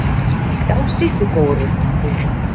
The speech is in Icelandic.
Já, sittu góurinn, segir mamma.